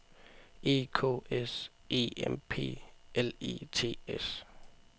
E K S E M P L E T S